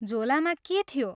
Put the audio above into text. झोलामा के थियो?